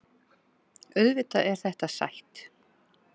Auðvitað er þetta sætt